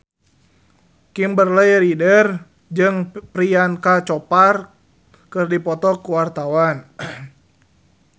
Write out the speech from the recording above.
Kimberly Ryder jeung Priyanka Chopra keur dipoto ku wartawan